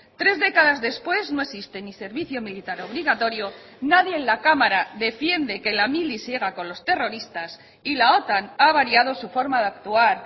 tres décadas después no existe ni servicio militar obligatorio nadie en la cámara defiende que la mili siga con los terroristas y la otan ha variado su forma de actuar